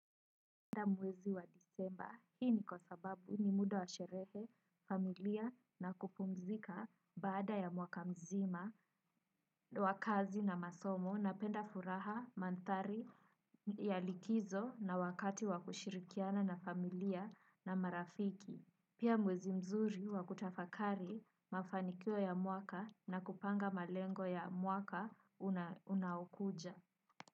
Penda mwezi wa disemba, hii ni kwa sababu ni muda wa sherehe, familia na kupumzika baada ya mwaka mzima, wakazi na masomo na penda furaha, mantari ya likizo na wakati wa kushirikiana na familia na marafiki. Pia mwezi mzuri wa kutafakari mafanikio ya mwaka na kupanga malengo ya mwaka unaoukuja.